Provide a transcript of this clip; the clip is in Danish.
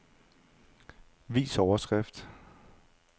Vis overskrift.